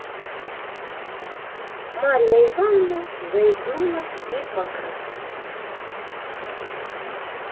марья ивановна заикнулась и покраснела